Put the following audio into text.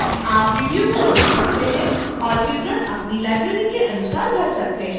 आप वीडियो को रोक सकते हैं और विवरण अपनी library के अनुसार भर सकते हैं